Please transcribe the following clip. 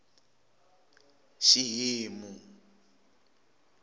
xihimu